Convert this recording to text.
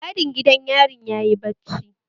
Mai gadin gidan yarin yayi bacci